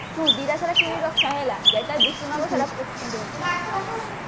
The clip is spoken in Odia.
ତୁ ଦିଟା ଶାଢୀ କିଣିକି ରଖିଥା ହେଲା ଯୋଉଟା decision ହବ ପିନ୍ଧିବୁ